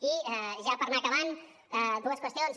i ja per anar acabant dues qüestions